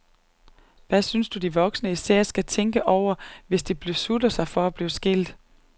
Hvad synes du voksne især skal tænke over, hvis de beslutter sig for at blive skilt?